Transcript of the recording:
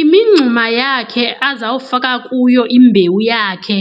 Imingxuma yakhe azawufaka kuyo imbewu yakhe